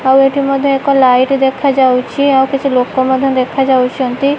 ଆଉ ଏଠି ମଧ୍ୟ ଏକ ଲାଇଟ୍ ଦେଖାଯାଉଛି ଆଉ କିଛି ଲୋକ ମଧ୍ୟ ଦେଖାଯାଉଛନ୍ତି।